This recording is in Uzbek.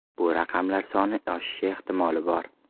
Bu raqamlar soni oshishi ehtimoli bor.